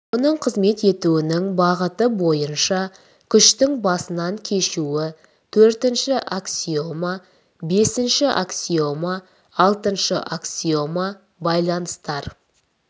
оның қызмет етуінің бағыты бойынша күштің басынан кешуі төртінші аксиома бесінші аксиома алтыншы аксиома байланыстар